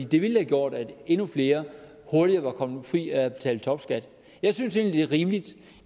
det ville have gjort at endnu flere hurtigere var kommet fri af at betale topskat jeg synes egentlig det er rimeligt